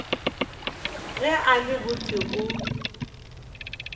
ge a le botse o